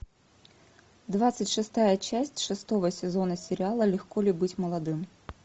двадцать шестая часть шестого сезона сериала легко ли быть молодым